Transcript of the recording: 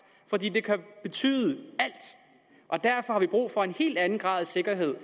for det kan betyde alt derfor har vi brug for en helt anden grad af sikkerhed